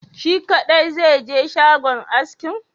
Shi kadai zaije shagon askin?